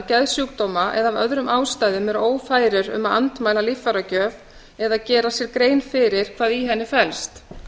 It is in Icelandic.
geðsjúkdóma eða af öðrum ástæðum eru ófærir um að andmæla líffæragjöf eða gera sér grein fyrir hvað í henni felst